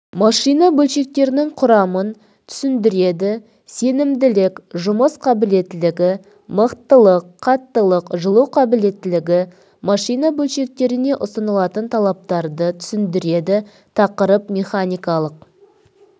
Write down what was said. машина бөлшектерінің құрамын түсіндіреді сенімділік жұмыс қабілеттілігі мықтылық қаттылық жылу қабілеттілігі машина бөлшектеріне ұсынылатын талаптарды түсіндіреді тақырып механикалық